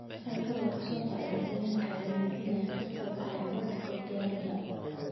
Sawirro laga soo qaaday deegaanka ayaa muujinaya qiiq ka baxaya burburka diyaaradda.